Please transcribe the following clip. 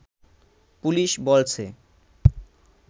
police বলছে